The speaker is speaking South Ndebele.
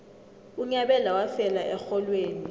unyabela wafela erholweni